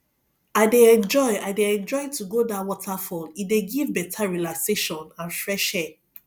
i dey enjoy i dey enjoy to go dat waterfall e dey give better relaxation and fresh air